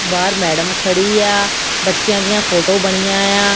ਬਾਹਰ ਮੈਡਮ ਖੜ੍ਹੀ ਆ ਬੱਚਿਆਂ ਦੀਆਂ ਫੋਟੋ ਬਣੀਆਂ ਆ --